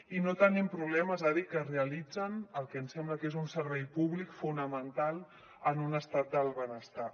i no tenim problemes a dir que realitzen el que ens sembla que és un servei públic fonamental en un estat del benestar